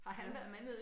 Han